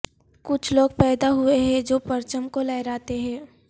کچھ لوگ پیدا ہوئے ہیں جو پرچم کو لہراتے ہیں